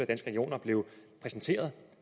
regioner blev præsenteret